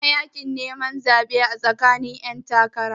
Ana yakin neman zaɓe tsakanin 'yantakara.